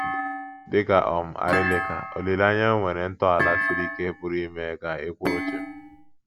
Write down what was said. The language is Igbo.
Dị ka um arịlịka, olileanya nwere ntọala siri ike pụrụ ime ka ị kwụrụ chịm